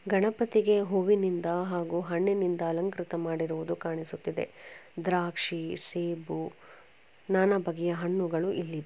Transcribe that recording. ಗಣಪತಿಗೆ ಹೂವಿನಿಂದ ಹಾಗೂ ಹಣ್ಣಿನಿಂದ ಅಲಂಕೃತ ಮಾಡಿರುವುದು ಕಾಣಿಸುತ್ತಿದೆ. ದ್ರಾಕ್ಷಿ ಸೇಬು ನಾನಾ ಬಗೆಯ ಹಣ್ಣುಗಳು ಇಲ್ಲಿ--